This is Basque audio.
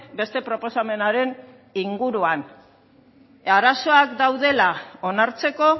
beste proposamenaren inguruan arazoak daudela onartzeko